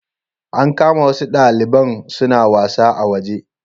An kama wasu daliban suna wasa a waje